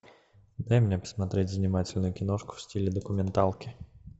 дай мне посмотреть занимательную киношку в стиле документалки